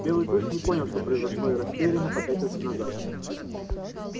белый клык не понял что произошло и растерянно попятился назад